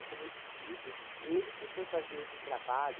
É, como eu te disse, ele que foi fazer esse trabalho,